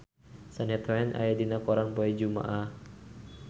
Shania Twain aya dina koran poe Jumaah